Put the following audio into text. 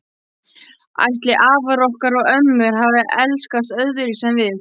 Ætli afar okkar og ömmur hafi elskast öðruvísi en við?